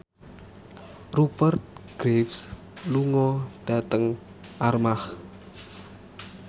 Rupert Graves lunga dhateng Armargh